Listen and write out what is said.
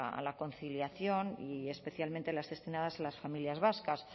a la conciliación y especialmente las destinadas a las familias vascas